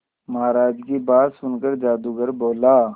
महाराज की बात सुनकर जादूगर बोला